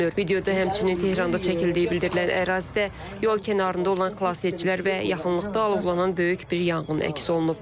Videoda həmçinin Tehranda çəkildiyi bildirilən ərazidə yol kənarında olan xilasedicilər və yaxınlıqda alovlanan böyük bir yanğın əks olunub.